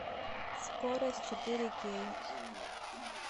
скорость четыре кей